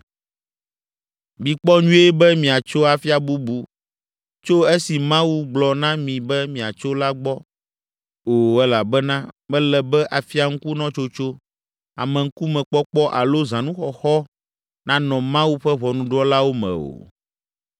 Mikpɔ nyuie be miatso afia bubu tso esi Mawu gblɔ na mi be miatso la gbɔ o elabena mele be afiaŋkunɔtsotso, ameŋkumekpɔkpɔ alo zãnuxɔxɔ nanɔ Mawu ƒe ʋɔnudrɔ̃lawo me o.”